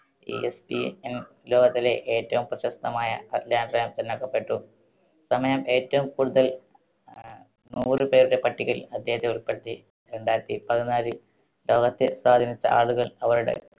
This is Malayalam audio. ESPN ലോകത്തിലെ ഏറ്റവും പ്രശസ്തമായ തെരഞ്ഞടുക്കപ്പെട്ടു. സമയം ഏറ്റവും കൂടുതൽ ആഹ് നൂറു പേരുടെ പട്ടികയിൽ അദ്ദേഹത്തെ ഉൾപ്പെടുത്തി. രണ്ടായിരത്തിപതിനാലിൽ ലോകത്തെ സ്വാധീനിച്ച ആളുകൾ അവരുടെ